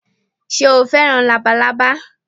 Sé o fẹ́ràn Labalábá